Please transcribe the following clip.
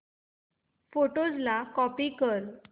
photos ला copy कर